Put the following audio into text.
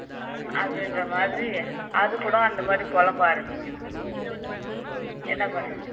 அப்படின்ற மாதிரி அதுகூட அந்த மாதிரி புலம்ப ஆரம்பிக்குது என்ன பண்றது